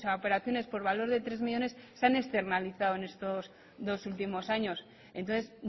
operaciones por valor de tres millónes se han externalizado en estos dos últimos años entonces